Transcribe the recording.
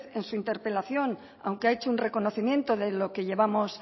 en su interpelación aunque ha hecho un reconocimiento de lo que llevamos